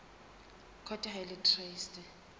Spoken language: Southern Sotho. court ha e le traste